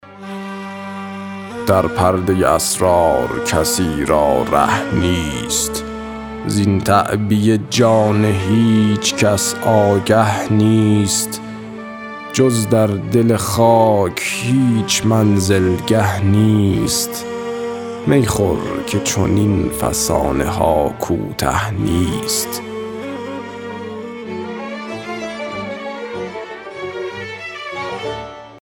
در پردۀ اسرار کسی را ره نیست زین تعبیه جان هیچ کس آگه نیست جز در دل خاک هیچ منزلگه نیست می خور که چنین فسانه ها کوته نیست